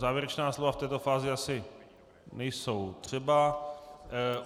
Závěrečná slova v této fázi asi nejsou třeba.